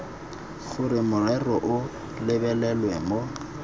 gore morero o lebelelwe mo